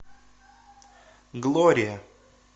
глория